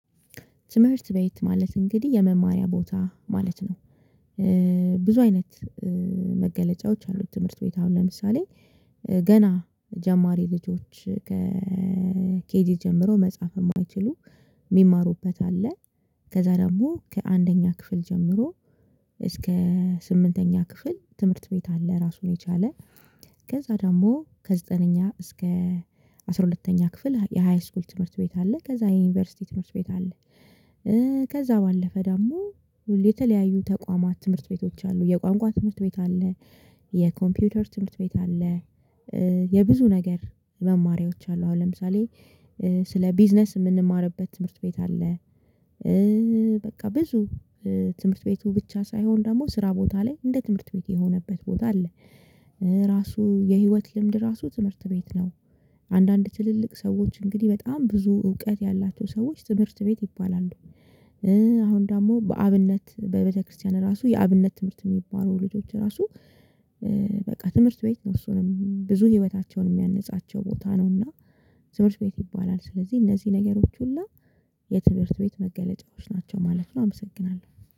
ትምህርት ቤት ማለት እንግዲህ የመማሪያ ቦታ ማለት ነው። ብዙ አይነት መገለጫዎች አሉት ትምህርት ቤት አሁን ለምሳሌ ገና ጀማሪ ልጆች ከኬጂ ጀምሮ መጻፍ የማይችሉ የሚማሩበት አለ። ከዛ ደግሞ ከአንደኛ ክፍል ጀምሮ እስከ ስምንተኛ ክፍል ትምህርት ቤት አለ። ራሱን የቻለ ከዛ ደግሞ ከዘጠነኛ እስከ አስራ ሁለተኛ ክፍል የሃይስኩል ትምህርት ቤት አለ። ከዛ የዩኒቨርሲቲ ትምህርት ቤት አለ። ከዛ ባለፈ ደግሞ የተለያዩ ተቋማት ትምህርት ቤቶች አሉ የቋንቋ ትምህርት ቤት አለ። የኮምፒውተር ትምህርት ቤት አለ። የብዙ ነገር መማሪያዎች አሉ አሁን ለምሳሌ ስለ ቢዝነስ የምንማርበት ትምህርት ቤት አለ። በቃ ብዙ ትምህርት ቤቱ ብቻ ሳይሆን ደግሞ ስራ ቦታ ላይ እንደ ትምህርት ቤት የሆነበት ቦታ አለ። ራሱ የህይወት ልምድ ራሱ ትምህርት ቤት ነው። አንዳንድ ትልልቅ ሰዎች እንግዲህ በጣም ብዙ እውቀት ያላቸው ሰዎች ትምህርት ቤት ይባላሉ። አሁን ደግሞ በአብነት በቤተክርስቲያን ራሱ የአብነት ትምህርት የሚባሉ ልጆች ራሱ በቃ ትምህርት ቤት ነው እሱንም ብዙ ህይወታቸውን የሚያነጻቸው ቦታ ነው እና ትምህርት ቤት ይባላል። ስለዚህ እነዚህ ነገሮች ሁሉ የትምህርት ቤት መገለጫዎች ናቸው ማለት ነው። አመሰግናለሁ።